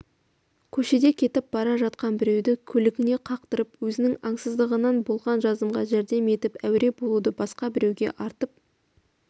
көшеде кетіп бара жатқан біреуді көлігіне қақтырып өзінің аңсыздығынан болған жазымға жәрдем етіп әуре болуды басқа біреуге артып